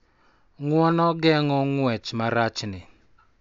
Ng�uono geng�o ng�wech marachni